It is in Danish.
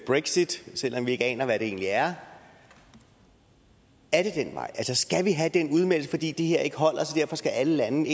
brexit selv om vi ikke aner hvad det egentlig er er det den vej skal vi have den udmeldelse fordi det her ikke holder så alle lande